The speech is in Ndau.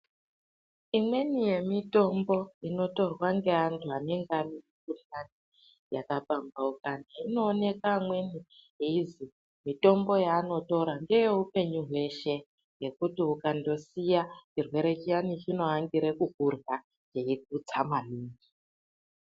Imweni yemitombo inotorwa ngeantu anengane mikuhlani yakapambaukana inooneka amweni yeizwi mitombo yaanotora ngeyeupenyu hweshe yekuti ukandosiya chirwere chiyani chinoangire kukurya cheikutsa maningi.